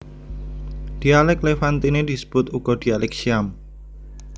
Dhialèk Levantine Disebut uga Dhialèk Syam